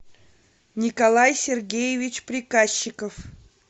николай сергеевич приказчиков